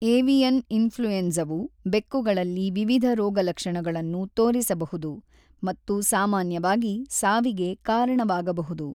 Avian ಇನ್ಫ್ಲುಯೆನ್ಸವು ಬೆಕ್ಕುಗಳಲ್ಲಿ ವಿವಿಧ ರೋಗಲಕ್ಷಣಗಳನ್ನು ತೋರಿಸಬಹುದು ಮತ್ತು ಸಾಮಾನ್ಯವಾಗಿ ಸಾವಿಗೆ ಕಾರಣವಾಗಬಹುದು.